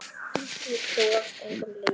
Þú varst engum lík.